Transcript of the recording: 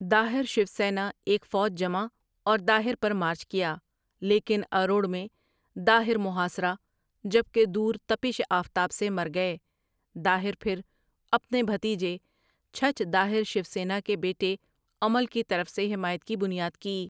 داہر شوسینا ایک فوج جمع اور داہر پر مارچ کیا، لیکن اروڑ میں داہر محاصرہ جبکہ دورتپٔش آفتاب سے مر گئے داہر پھر اپنے بھتیجے چھچھ داہر شوسینا کے بیٹے عمل کی طرف سے حمایت کی بنیاد کی۔